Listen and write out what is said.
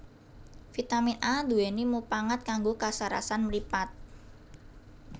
Vitamin A nduwèni mupangat kanggo kasarasan mripat